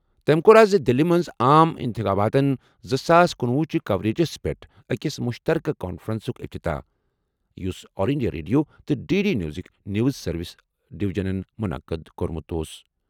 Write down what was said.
تٔمۍ کوٚر آز دِلہِ منٛز عام انتخاباتَن زٕ ساس کنُوہُ چہِ کوریجَس پٮ۪ٹھ أکِس مُشترکہٕ کانفرنسُک افتتاح یُس آل انڈیا ریڈیو تہٕ ڈی ڈی نیوزٕک نیوز سروس ڈِیٚوجنَن منعقد کوٚرمُت اوس۔